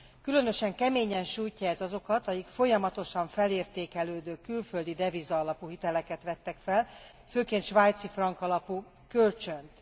Különösen keményen sújtja ez azokat, akik folyamatosan felértékelődő külföldideviza alapú hiteleket vettek fel, főként svájcifrank alapú kölcsönt.